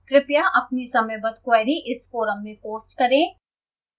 कृपया अपनी समयबद्ध queries इस forum में post करें